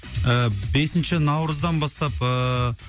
ыыы бесінші наурыздан бастап ыыы